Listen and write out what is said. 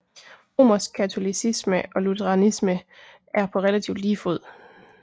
Romersk katolicisme og lutheranisme er på relativt lige fod